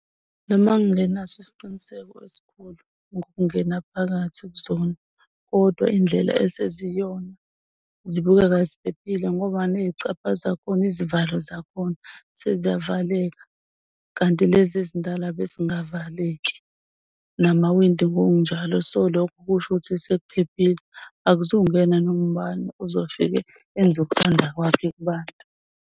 Noma ngingenaso isiqiniseko esikhulu ukungena phakathi kuzona kodwa indlela eseziyona zibukeka ziphephile ngoba ney'caba zakhona izivalo zakhona seziyavaleka kanti ilezi ezindala bezingavaleki namawindi ngokunjalo. So, lokho kushukuthi sekuphelile akuzukungena noma ubani ozofike enze ukuthanda kwakhe kubantu.